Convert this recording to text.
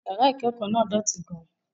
Yàrá ìkẹ́kọ̀ọ́ náà dọ̀tí gan-an